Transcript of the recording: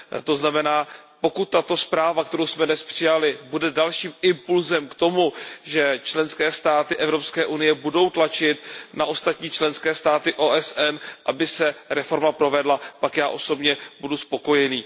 To znamená, pokud tato zpráva, kterou jsme dnes přijali, bude dalším impulsem k tomu, že členské státy Evropské unie budou tlačit na ostatní členské státy OSN, aby se reforma provedla, pak já osobně budu spokojený.